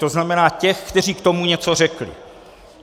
To znamená těch, kteří k tomu něco řekli.